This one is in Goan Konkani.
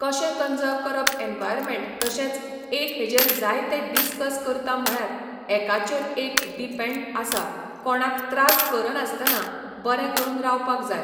कशें कनजर्व करप एन्वाइरन्मन्ट तशेंच एक हेजेर जायते डिस्कस करता म्हळ्यार एकाचेर एक डिपेन्ड आसा कोणाक त्रास कर नासतना बरें करून रावपाक जाय